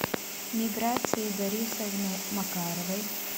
миграцией борисовной макаровой